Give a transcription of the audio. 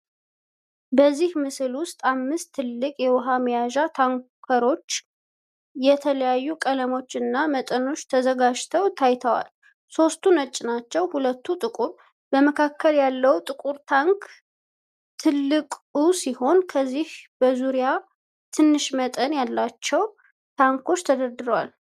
በዚህ ምስል ውስጥ አምስት ትልቅ የውሃ መያዣ ታንኮች በተለያዩ ቀለሞች እና መጠኖች ተዘጋጅተው ታይተዋል። ሶስቱ ነጭ ናቸው፣ ሁለቱ ጥቁር። በመካከል ያለው ጥቁር ታንክ ትልቁ ሲሆን፣ ከዚህ በዙሪያ ትንሽ መጠን ያላቸው ታንኮች ተደርተዋል።